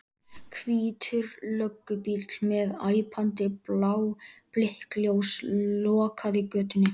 Hvítur löggubíll með æpandi blá blikkljós lokaði götunni.